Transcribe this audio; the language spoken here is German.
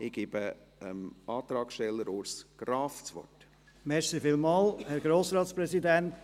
Ich gebe dem Antragsteller Urs Graf das Wort.